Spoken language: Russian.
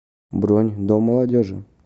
бронь дом молодежи